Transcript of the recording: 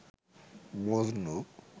Majnu